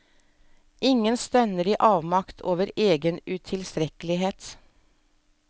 Ingen stønner i avmakt over egen utilstrekkelighet.